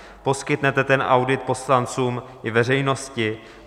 Poskytnete ten audit poslancům i veřejnosti?